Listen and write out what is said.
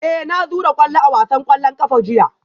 Eh na zura kwallo a wasan kwallon kafa jiya